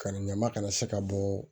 Ka na ɲama kana se ka bɔ